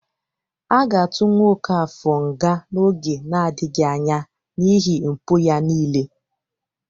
A ga-atụ nwa Ọkafọr nga n'oge nadịghị anya n'iihi mpụ ya niile